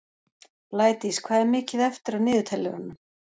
Blædís, hvað er mikið eftir af niðurteljaranum?